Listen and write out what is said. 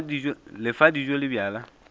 le fa dijo le bjala